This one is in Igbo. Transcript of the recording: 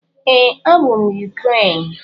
Ee, abụ m Ukraine.